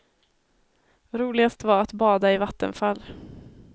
Roligast var att bada i vattenfall.